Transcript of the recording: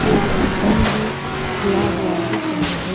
एक दुकान भी खुला हुआ दिख रहा है।